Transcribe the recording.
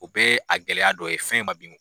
O bɛɛ ye a gɛlɛya dɔ ye fɛn ma bin